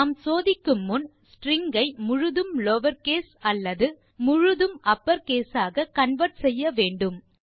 நாம் சோதிக்கும் முன் ஸ்ட்ரிங் ஐ முழுதும் லவர் கேஸ் அல்லது முழுதும் அப்பர் கேஸ் ஆக கன்வெர்ட் செய்ய வேண்டும்